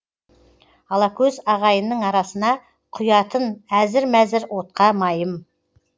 алакөз ағайынның арасына құятын әзір мәзір отқа майым